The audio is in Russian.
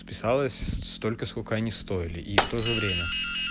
подписалась столько сколько они стоили и в то же время